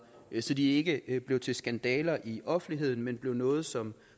så de ikke ikke bliver til skandaler i offentligheden men altså bliver noget som